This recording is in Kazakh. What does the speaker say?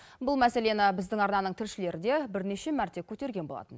бұл мәселені біздің арнаның тілшілері де бірнеше мәрте көтерген болатын